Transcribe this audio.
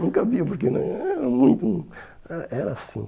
Não cabiam porque né hum hum eh era assim.